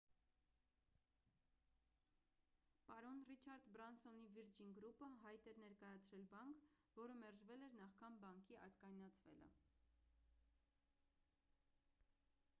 պարոն ռիչարդ բրանսոնի վիրջին գրուպը հայտ էր ներկայացրել բանկ որը մերժվել էր նախքան բանկի ազգայնացվելը